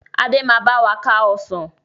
Adé máa báwa ká Ọsàn